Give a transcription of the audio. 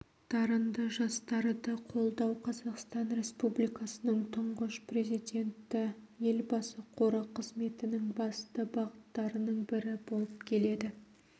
дарынды жастарды қолдау қазақстан республикасының тұңғыш президенті елбасы қоры қызметінің басты бағыттарының бірі болып келеді